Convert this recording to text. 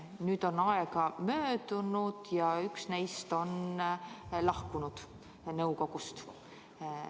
Nüüd on aega möödunud ja üks neist on nõukogust lahkunud.